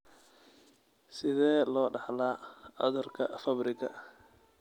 Sidee loo dhaxlaa cudurka Fabriga?